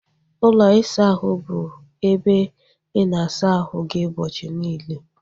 Ụlọ isa ahụ bụ ebe ị na-asa ahu gị ụbọchị niile